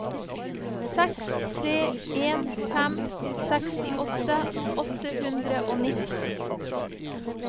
seks tre en fem sekstiåtte åtte hundre og nitten